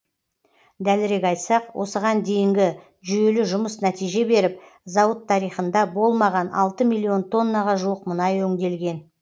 дәлірек айтсақ осыған дейінгі жүйелі жұмыс нәтиже беріп зауыт тарихында болмаған алты миллион тоннаға жуық мұнай өңделген